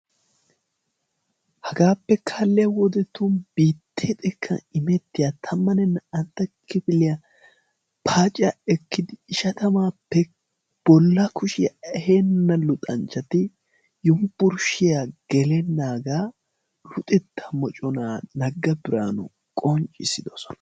Hagaappe kaaliya wodetun biittee xekkan immetiya tammanne naa"antta kifiliya paaciya ekiya ishshtammaappe bolla kushiya eheena luxanchchati Yunbburshshiya gelennaagaa luxettaa moccona Naga Biraanu qonccissiddosona.